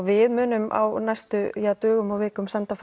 við munum á næstu dögum og vikum senda